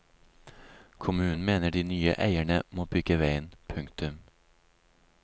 Kommunen mener de nye eierne må bygge veien. punktum